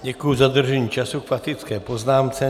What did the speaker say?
Děkuji za dodržení času k faktické poznámce.